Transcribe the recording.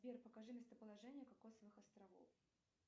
сбер покажи местоположение кокосовых островов